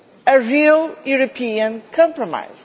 terms a real European compromise.